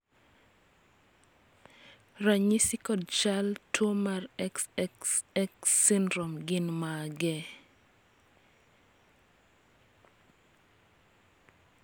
ranyisi kod chal mag tuo mar XXXXX syndrome gin mage?